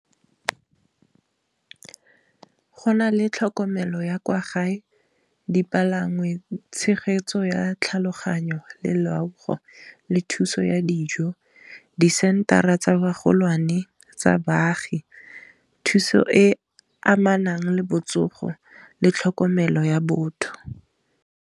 Go na le tlhokomelo ya kwa gae dipalangwa le tshegetso ya tlhaloganyo le loago, le thuso ya dijo disentara tsa bagolwane tsa baagi, thuso e amanang le botsogo le tlhokomelo ya botho.